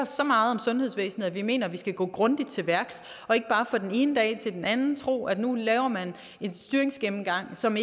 så meget om sundhedsvæsenet at vi mener vi skal gå grundigt til værks og ikke bare fra den ene dag til den anden tro at nu laver man en styringsgennemgang som